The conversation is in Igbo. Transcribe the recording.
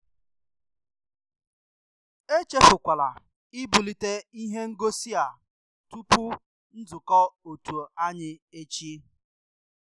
Echefukwala ịbulite ìhè ngosị a tupu nzukọ òtù anyị echi.